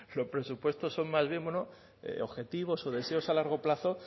los presupuestos son más bien objetivos o deseos a largo plazo